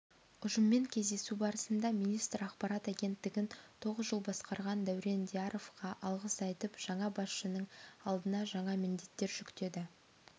ұжыммен кездесу барысында министр ақпарат агенттігін тоғыз жыл басқарған дәурен дияровқа алғыс айтып жаңа басшының алдына жаңа міндеттер жүктеді